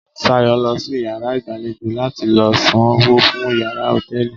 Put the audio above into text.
Sayo lo si iyàrá ìgbàlejò la ti lo san owó fún iyàrá hòtẹ́ẹ̀lì